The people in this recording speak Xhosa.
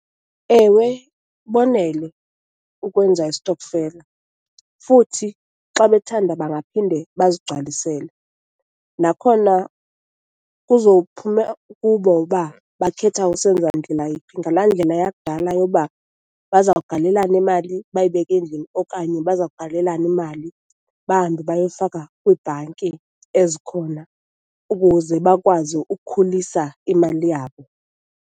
Ewe, bonele ukwenza isitokfela futhi xa bethanda, bangaphinde bazigcwalisele. Nakhona kuzophuma kubo uba bakhetha usenza ndlela yiphi, ngala ndlela yakudala yoba bazawugalelana imali bayibeka endlini okanye bazawugalelana imali bahambe bayoyifaka kwiibhanki ezikhona ukuze bakwazi ukukhulisa imali yabo.